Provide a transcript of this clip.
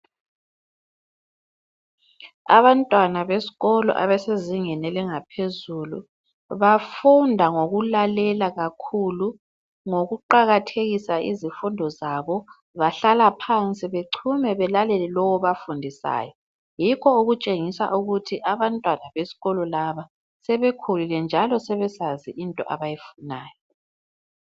Abantwana besikolo abasezingeni elingaphezulu bafunda ngokulalela kakhulu ngokuqakathekisa izifundo zabo bahlala phansi bechume belalele lowu obafundisayo, yikho okutshengisa ukuthi abantwana besikolo laba sebekhulile njalo sebesazi into abayifunayo.